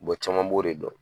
caman b'o de dɔn.